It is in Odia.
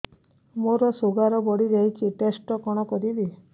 ମୋର ଶୁଗାର ବଢିଯାଇଛି ଟେଷ୍ଟ କଣ କରିବି